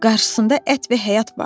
Qarşısında ət və həyat vardı.